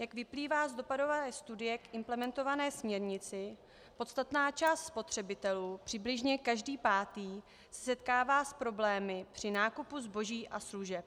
Jak vyplývá z dopadové studie k implementované směrnici, podstatná část spotřebitelů, přibližně každý pátý, se setkává s problémy při nákupu zboží a služeb.